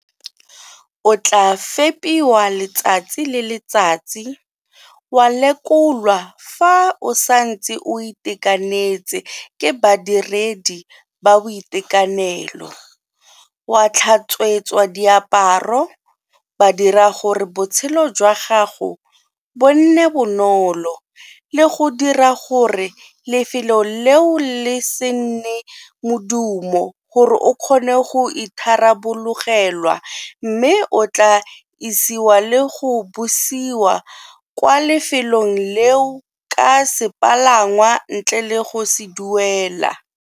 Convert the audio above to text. O tla fepiwa letsatsi le letsatsi, wa lekolwa fa o santse o itekanetse ke badiredi ba boitekanelo, wa tlhatswetswa diaparo, ba dira gore botshelo jwa gago bo nne bonolo le go dira gore lefelo leo le se nne modumo gore o kgone go itharabologelwa mme o tla isiwa le go busiwa kwa lefelong leo ka sepalangwa ntle le go se duelela.